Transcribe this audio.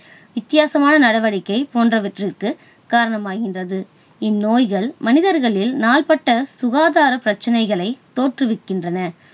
வித்தியாசமான நடவடிக்கை போன்றவற்றிற்கு காரணமாகின்றது. இந்நோய்கள் மனிதர்களில் நாள்பட்ட சுகாதாரப் பிரச்சனைகளைத் தோற்றுவிக்கின்றன.